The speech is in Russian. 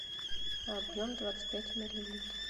объем двадцать пять миллилитров